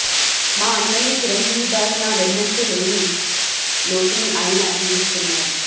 మా అన్నయ్య చిరంజీవి గారు నా వెన్నంటి లేని లోటును ఆయన తీరుస్తున్నారు